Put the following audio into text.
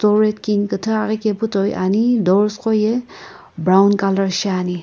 storied kini kuthu aghi kepu toi ani doors qo ye brown colour shiani.